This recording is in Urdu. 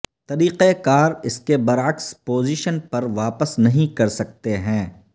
طریقہ کار اس کے برعکس پوزیشن پر واپس نہیں کر سکتے ہیں